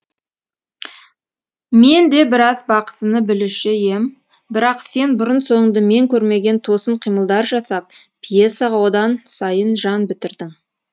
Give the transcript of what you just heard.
мен де біраз бақсыны білуші ем бірақ сен бұрын соңды мен көрмеген тосын қимылдар жасап пьесаға одан сайын жан бітірдің